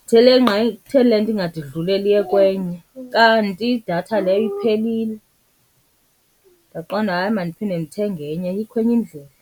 Ndithele nqa kutheni le nto ingade idlulele eliye kwenye kanti idatha leyo iphelile. Ndaqonda, hayi, mandiphinde ndithenge enye ayikho enye indlela.